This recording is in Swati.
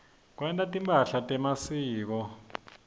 kwenta timphahla temasiko